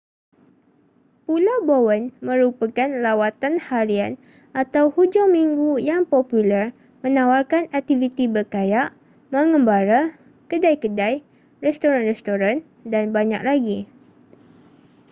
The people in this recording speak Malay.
pulau bowen merupakan lawatan harian atau hujung minggu yang popular menawarkan aktiviti berkayak mengembara kedai-kedai restoran-restoran dan banyak lagi